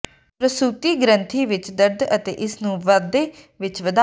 ਪ੍ਰਸੂਤੀ ਗ੍ਰੰਥੀ ਵਿਚ ਦਰਦ ਅਤੇ ਇਸ ਨੂੰ ਵਾਧੇ ਵਿਚ ਵਧਾਓ